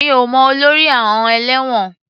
Mi ò mọ olórí àọn ẹ̀lẹ́wọ̀n.